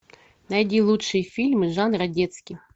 найди лучшие фильмы жанра детский